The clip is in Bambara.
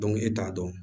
e t'a dɔn